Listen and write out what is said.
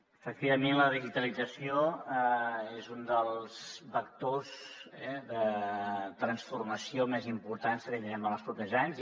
efectivament la digitalització és un dels vectors de transformació més importants que tindrem en els propers anys